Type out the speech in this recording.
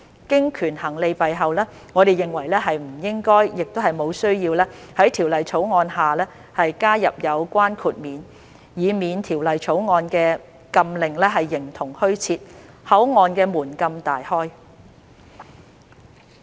經權衡利弊後，我們認為不應該，亦無需要在《條例草案》下加入有關豁免，以免《條例草案》的禁令形同虛設，口岸的門禁大開。